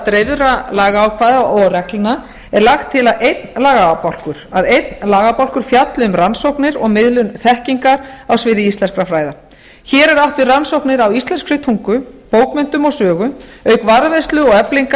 dreifðra lagaákvæða og reglna er lagt til að einn lagabálkur fjalli um rannsóknir og miðlun þekkingar á sviði íslenskra fræða hér er átt við rannsóknir á íslenskri tungu bókmenntum og sögu auk varðveislu og eflingar